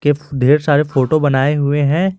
के ढेर सारे फोटो बनाए हुए हैं।